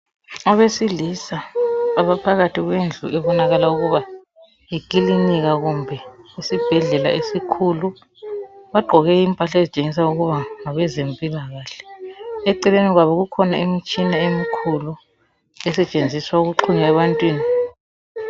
Abesilisa abaphakathi kwendlu ebonakala ukuba yikilinika kumbe isibhedlela esikhulu. Bagqoke impahla ezitshengisa ukuba ngabezempilakahle. Eceleni kwabo kukhona imitshina emikhulu esetshenziswa ukuxhuma ebantwini.